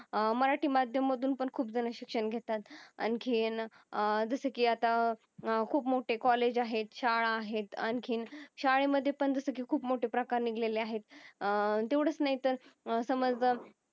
अं मराटी माध्यम मधून पण खूप जन शिक्षण घेतात आणखी अं जस कि अत्ता खूप मोठे कॉलेज आहेत शाळा आहेत आणखी शाळे मधे पण जस कि खूप मोठ प्रकार निगलेली आहेत. अह तेवढाच नाही तर समझा